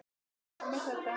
Og ekki nóg með þetta.